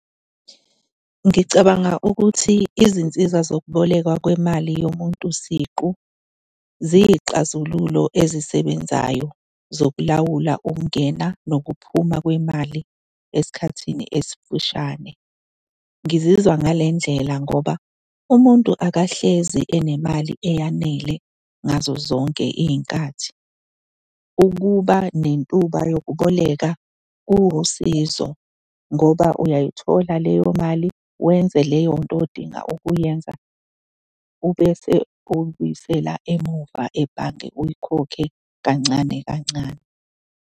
Ngicabanga ukuthi izinsiza zokubolekwa kwemali yomuntu siqu ziyiy'xazululo ezisebenzayo zokulawula ukungena nokuphuma kwemali esikhathini esifushane. Ngizizwa ngale ndlela ngoba umuntu akahlezi enemali eyanele ngazozonke iy'nkathi. Ukuba nentuba yokuboleka kuwusizo ngoba uyayithola leyo mali wenze leyo nto odinga ukuyenza ubese uyibuyisela emuva ebhange, uyikhokhe kancane kancane.